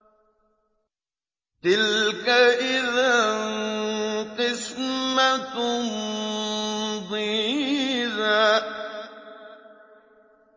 تِلْكَ إِذًا قِسْمَةٌ ضِيزَىٰ